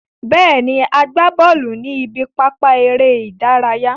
Bẹ́ẹ̀ ni, a gbá bọ́ọ̀lù ní ibi pápá eré ìdárayá.